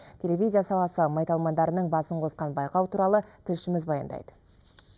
телевизия саласы майталмандарының басын қосқан байқау туралы тілшіміз баяндайды